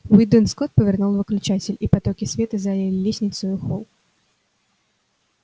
уидон скотт повернул выключатель и потоки света залили лестницу и холл